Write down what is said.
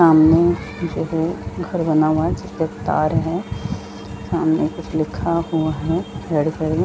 सामने जो घर बना हुआ है जिस पे तार है सामने कुछ लिखा हुआ है में